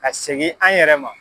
Ka segin an yɛrɛ ma.